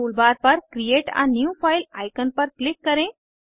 toolbar पर create a new file icon पर click करें